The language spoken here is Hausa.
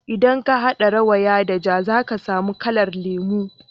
idan ka hada rawaya da ja za ka samu kalar lemu